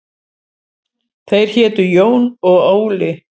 Þeir hétu Jón og Óli.